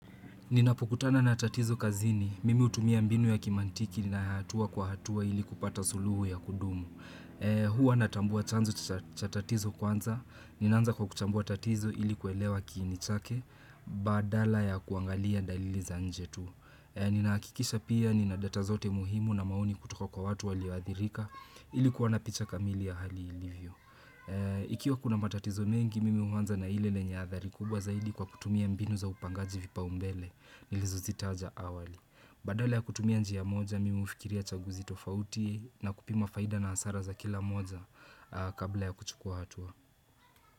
Ninapokutana na tatizo kazini, mimi hutumia mbinu ya kimaantiki na hatua kwa hatua ili kupata suluhu ya kudumu. Huwa natambua chanzo cha tatizo kwanza, ninaanza kwa kuchambua tatizo ili kuelewa kiini chake, badala ya kuangalia dalili za nje tu. Ninahakikisha pia nina data zote muhimu na maoni kutoka kwa watu waliothirika ili kuwa na picha kamili ya hali ilivyo. Ikiwa kuna matatizo mengi, mimi huanza na ile lenye hadhari kubwa zaidi kwa kutumia mbinu za upangaji vipa umbele. Nilizozitaja awali Badala ya kutumia njia moja Mimi hufikiria chaguzi tofauti na kupima faida na hasara za kila moja Kabla ya kuchukua hatua.